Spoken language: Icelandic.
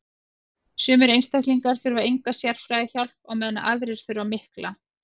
sumir einstaklingar þurfa enga sérhæfða hjálp á meðan aðrir þurfa mikla